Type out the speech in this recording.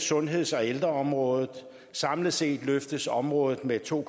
sundheds og ældreområdet samlet set løftes området med to